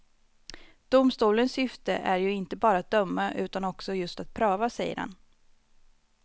Domstolens syfte är ju inte bara att döma utan också just att pröva, säger han.